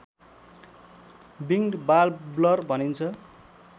winged warbler भनिन्छ